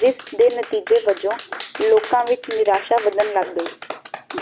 ਜਿਸ ਦੇ ਨਤੀਜ਼ੇ ਬਜੋ ਲੋਕ ਵਿੱਚ ਨਿਰਾਸ਼ਾ ਵੱਧਣ ਲੱਗ